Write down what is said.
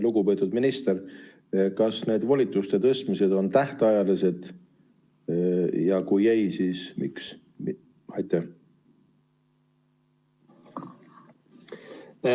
Lugupeetud minister, kas need volituste tõstmised on tähtajalised, ja kui ei, siis miks?